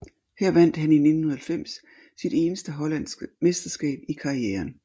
Her vandt han i 1990 sit eneste hollandske mesterskab i karrieren